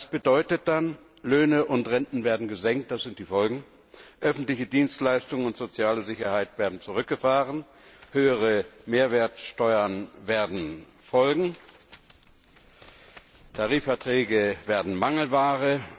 Das bedeutet dann Löhne und Renten werden gesenkt, öffentliche Dienstleistungen und soziale Sicherheit werden zurückgefahren, höhere Mehrwertsteuern werden folgen, Tarifverträge werden Mangelware.